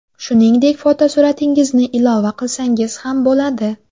Shuningdek, fotosuratingizni ilova qilsangiz ham bo‘ladi.